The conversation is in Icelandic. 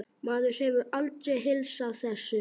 Maður hefur aldrei heilsað þessu.